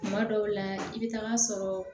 Kuma dɔw la i bɛ taa sɔrɔ